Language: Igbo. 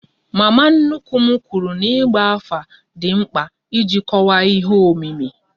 Mama nnukwu m kwụrụ n'igba afa dị mkpa iji kọwaa ihe omimi